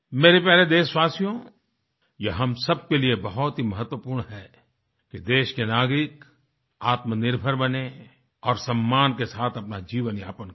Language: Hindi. मेरे प्यारे देशवासियों यह हम सब के लिए बहुत ही महत्वपूर्ण है कि देश के नागरिक आत्मनिर्भर बनें और सम्मान के साथ अपना जीवन यापन करें